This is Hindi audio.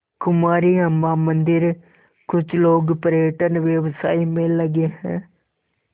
कुमारी अम्मा मंदिरकुछ लोग पर्यटन व्यवसाय में लगे हैं